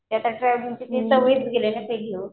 ते आता ट्रॅव्हलिंग ची सवयच गेली आहे ना ते